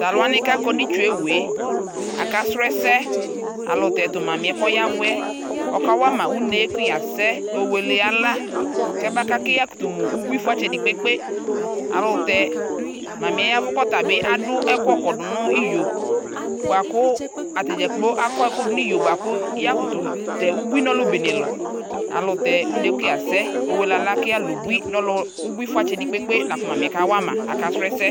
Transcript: talʋwa kakɔnʋ itsʋewʋe NA ɛsɛ ayɛlʋtɛ tʋ mamiɛ kʋ ɔyavuɛ ɔkawama ʋne kʋ ya sɛ yɔwele ala makakʋ yakʋtʋ mʋ ubui fʋatsɛdi kpe kpe ayɛlʋtɛ mamiɛ yavu kafʋ ɛkʋkɔdʋ niyo buakʋ atadza akʋ ɛkʋdʋ niyo buako yakʋtʋ tɛ nu ɔlʋbenelʋ ayɛlʋtɛ une kuyasɛɛ owele ala kʋyalʋ ʋbui fʋatsɛdi kpekpe la kʋ mamiyɛ kawama